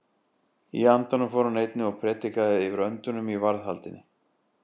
Í andanum fór hann einnig og prédikaði fyrir öndunum í varðhaldi.